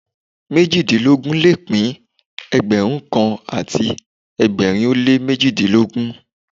Méjìdínlógún le pín Ẹgbẹ̀rún kan àti ẹgbẹ̀rin ó lé méjìdínlógún.